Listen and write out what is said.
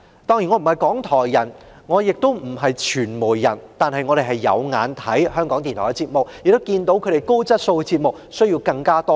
當然，我既不是"港台人"也不是"傳媒人"，但有收看港台的節目，亦看到其高質素的節目需要更多支援。